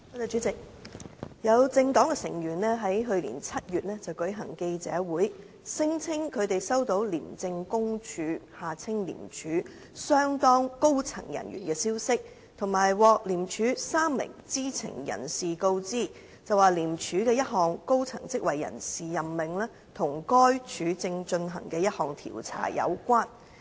主席，有政黨成員於去年7月舉行記者會，聲稱他們收到廉政公署相當高層人員的消息及獲廉署3名知情人士告知，廉署的一項高層職位人事任命與該署正進行的一項調查有關。